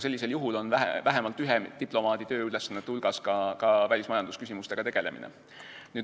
Sellisel juhul on vähemalt ühe diplomaadi tööülesannete hulgas välismajandusküsimustega tegelemine.